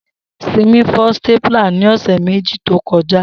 Simi fọ stapler ni ọsẹ meji to kọja